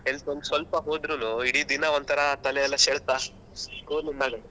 ಕೆಲ್ಸಕ್ಕೆ ಒಂದು ಸ್ವಲ್ಪ ಹೊದ್ರುನು ಇಡೀ ದಿನ ಒಂತರ ತಲೆ ಎಲ್ಲ ಸೆಳೆತ .